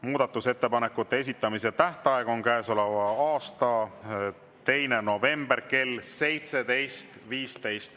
Muudatusettepanekute esitamise tähtaeg on käesoleva aasta 2. november kell 17.15.